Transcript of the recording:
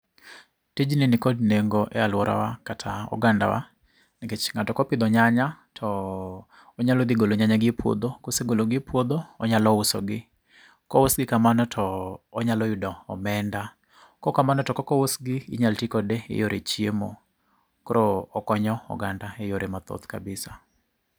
Tijni nikod nengo e alworawa kata oganda wa. Nikech ng'ato kopidho nyanya to, onyalo dhi golo nyanya gi e puodho, kosegolo gi e puodho, onyalo uso gi. Kous gi kamano to onyalo yudo omenda. Kokamano to kok ous gi, inyal tii kode e yore chiemo. Koro okonyo oganda eyore mathoth kabisa